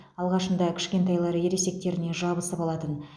алғашында кішкентайлары ересектеріне жабысып алатын